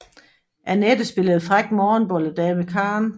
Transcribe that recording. Annette spillede fræk morgenbolle dame Karen